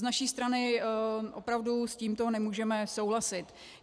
Z naší strany opravdu s tímto nemůžeme souhlasit.